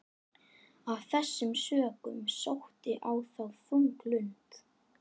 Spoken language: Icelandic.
Af þessum sökum sótti á þá þung lund.